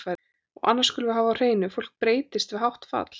Og annað skulum við hafa á hreinu, fólk breytist við hátt fall.